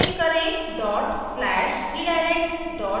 type करें dot slash redirect dot sh